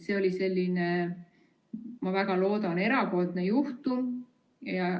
See oli, ma väga loodan, erandjuhtum.